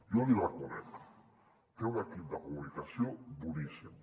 jo l’hi reconec té un equip de comunicació boníssim